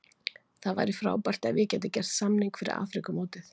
Það væri frábært ef ég get gert samning fyrir Afríkumótið.